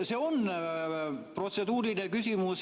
See on protseduuriline küsimus.